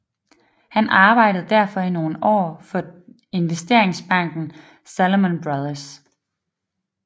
Han arbejdede derfor i nogle år for investeringsbanken Salomon Brothers